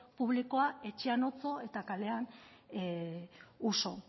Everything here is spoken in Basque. publikoa etxean otso eta kalean uso